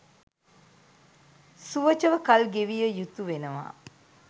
සුවචව කල් ගෙවිය යුතු වෙනවා.